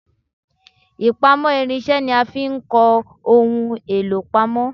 Ipamo irinse ni a fi ń kọ ohun èlò pamọ